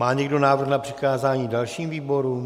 Má někdo návrh na přikázání dalším výborům?